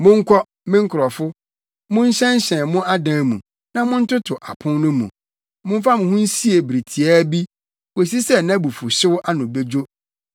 Monkɔ, me nkurɔfo, monhyɛnhyɛn mo adan mu na montoto apon no mu; momfa mo ho nsie bere tiaa bi kosi sɛ nʼabufuwhyew ano bedwo.